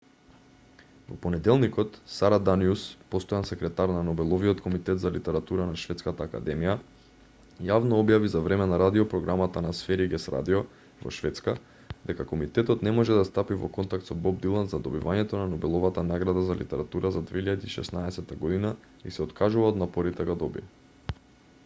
во понеделникот сара даниус постојан секретар на нобеловиот комитет за литература на шведската академија јавно објави за време на радиопрограмата на сверигес радио во шведска дека комитетот не може да стапи во контакт со боб дилан за добивањето на нобеловата награда за литература за 2016 година и се откажува од напорите да го добие